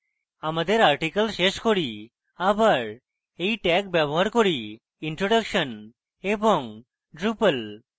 আমাদের article শেষ করি আবার এই tags ব্যবহার করিintroduction এবং drupal